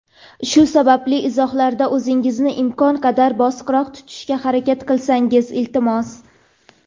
Shu sababli izohlarda o‘zingizni imkon qadar bosiqroq tutishga harakat qilsangiz, iltimos.